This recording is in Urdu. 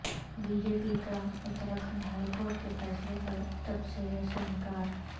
بی جے پی کا اتراکھنڈ ہائی کورٹ کے فیصلے پر تبصرے سے انکار